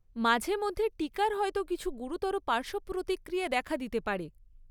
মাঝে মধ্যে টিকার হয়তো কিছু গুরুতর পার্শ্বপ্রতিক্রিয়া দেখা দিতে পারে।